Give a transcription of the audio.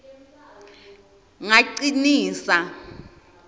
ngacinisa